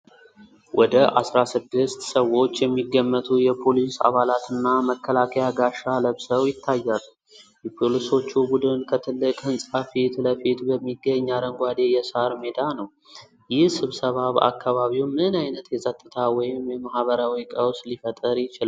ወደ አስራ ስድስት ሰዎች የሚገመቱ የፖሊስ አባላት እና መከላከያ ጋሻ ለብሰው ይታያሉ፤ የፖሊሶቹ ቡድን ከትልቅ ሕንፃ ፊት ለፊት በሚገኝ አረንጓዴ የሣር ሜዳ ነው። ይህ ስብሰባ በአካባቢው ምን ዓይነት የፀጥታ ወይም የማኅበራዊ ቀውስ ሊፈጥር ይችላል?